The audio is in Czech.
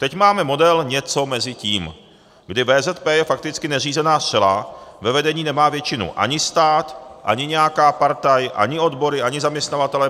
Teď máme model něco mezi tím, kdy VZP je fakticky neřízená střela, ve vedení nemá většinu ani stát, ani nějaká partaj, ani odbory, ani zaměstnavatelé.